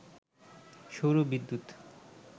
সৌর বিদ্যুৎ